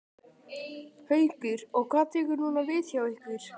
Haukur: Og hvað tekur núna við hjá ykkur?